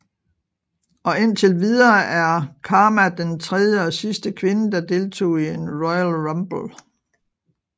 Og indtil videre er Kharma den tredje og sidste kvinde der deltog i en Royal Rumble